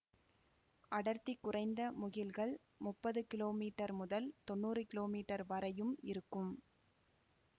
அடர்த்தி குறைந்த முகில்கள் முப்பது கிலோமீட்டர் முதல் தொன்னூறு கிலோமீட்டர் வரையும் இருக்கும்